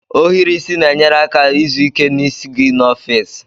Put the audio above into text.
Ohiri isi na-enyere aka izu ike n'isi gị n'ọfịs